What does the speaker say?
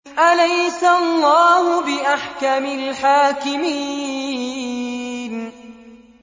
أَلَيْسَ اللَّهُ بِأَحْكَمِ الْحَاكِمِينَ